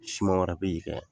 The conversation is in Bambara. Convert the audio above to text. Suma wɛrɛ be in